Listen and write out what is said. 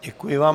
Děkuji vám.